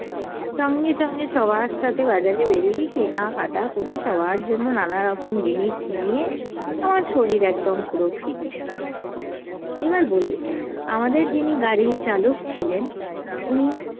সঙ্গে সঙ্গে সবার সাথে বাজারে বেরিয়ে কেনা কাটা করে সবার জন্য নানারকম জিনিস নিয়ে আমার শরীর একদম পুরো fit । এবার বলি আমাদের যিনি গাড়ির চালক ছিলেন উনি